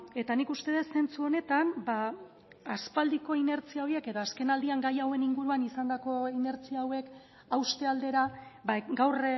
eta nik uste dut zentzu honetan aspaldiko inertzia horiek edo azken aldian gai hauen inguruan izandako inertzia hauek hauste aldera gaur